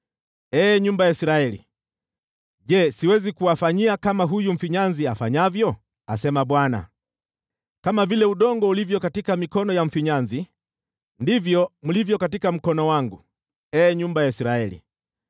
“Ee nyumba ya Israeli, je, siwezi kuwafanyia kama huyu mfinyanzi afanyavyo?” asema Bwana . “Kama vile udongo ulivyo katika mikono ya mfinyanzi, ndivyo mlivyo katika mkono wangu, ee nyumba ya Israeli.